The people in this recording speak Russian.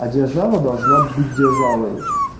а держава должна быть державой